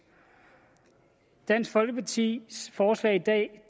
dansk folkepartis forslag i dag